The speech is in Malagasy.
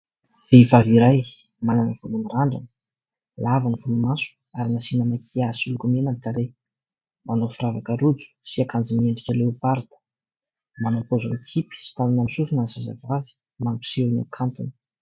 Vehivavy iray manana volo mirandrana lava ny volomaso ary nasiana makiazy sy lokomena ny tarehy. Manao firavaka rojo sy akanjo miendrika leoparida manao paozy mikipy sy tanana amin'ny sofina ny zazavavy mampiseho ny hakantony.